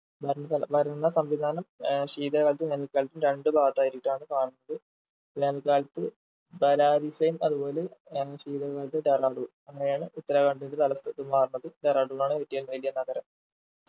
ഭരണ തല ഭരണ സംവിധാനം ഏഹ് ശീതകാലത്തും വേനൽക്കാലത്തും രണ്ടു ഭാഗത്തായിട്ടാണ് കാണുന്നത് വേനൽക്കാലത്ത് അതുപോലെ ആഹ് ശീതകാലത്ത് ടെഹ്‌റാഡൂൺ അങ്ങനെയാണ് ഉത്തരാഖണ്ഡ് തലസ്ഥാ മാറുന്നത് ടെഹ്‌റാഡൂൺ ആണ് ഏറ്റവും വലിയ നഗരം